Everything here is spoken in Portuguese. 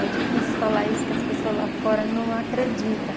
É difícil falar isso, porque as pessoas lá fora não acreditam.